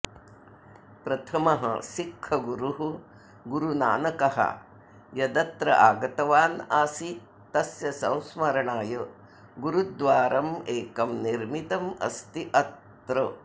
प्रथमः सिक्खगुरुः गुरुनानकः यदत्र आगतवान् आसीत् तस्य संस्मरणाय गुरुद्वारम् एकं निर्मितम् अस्ति अत्र